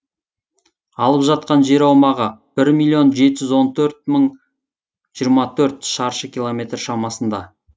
алып жатқан жер аумағы бір миллион жеті жүз он төрт мың жиырма төрт шаршы километр шамасында